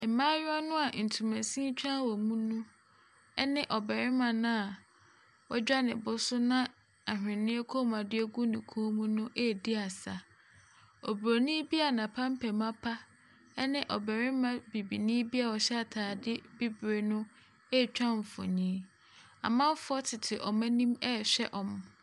Mmayewa no a ntomasini tware wɔn mu no ne ɔbarima no a wadwa ne bo so na ahweneɛ kɔnmuadeɛ gu ne kɔn mu no redi asa. Oburonin bi a n'apampam apa ne ɔbarima Bibini bi a ɔhya atadeɛ bibire no retwa mfonin. Amanfoɔ tete wɔn anim rehwɛ wɔn.